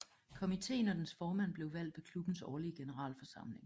Komitéen og dens formand blev valgt ved klubbens årlige generalforsamling